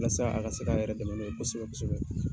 walasa a ka se k'a yɛrɛ dɛmɛ n'o ye kosɛbɛ kosɛbɛ.